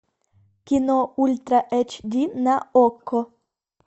кино ультра эйч ди на окко